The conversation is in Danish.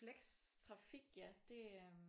Flextrafik ja det øh